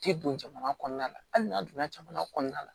Tɛ don jamana kɔnɔna la hali n'a donna jamana kɔnɔna la